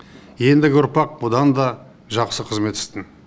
ендігі ұрпақ бұдан да жақсы қызмет істер